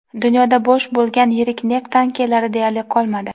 Dunyoda bo‘sh bo‘lgan yirik neft tankerlari deyarli qolmadi.